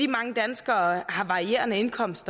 mange danskere har varierende indkomst